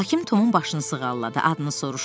Hakim Tomun başını sığalladı, adını soruşdu.